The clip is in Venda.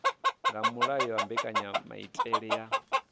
nga mulayo wa mbekanyamaitele ya